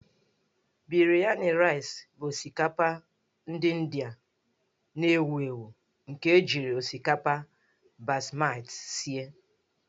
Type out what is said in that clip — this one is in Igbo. Biryani Rice' bụ osikapa ndị Indịa na-ewu ewu nke ejiri osikapa basmati sie.